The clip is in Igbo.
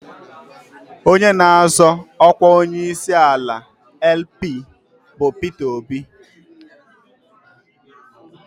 Onye na-azọ ọkwa onyeisiala LP bụ Peter Obi.